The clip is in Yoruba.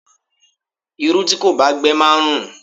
Irú tí kò bá gbe máa ń rùn.